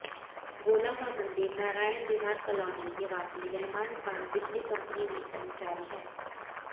गोला का मंदिर नारायण विहार कॉलोनी निवासी रहमान खान बिजली कंपनी में कर्मचारी हैं